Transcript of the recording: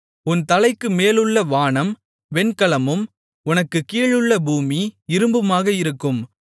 உன் தலைக்கு மேலுள்ள வானம் வெண்கலமும் உனக்குக் கீழுள்ள பூமி இரும்புமாக இருக்கும்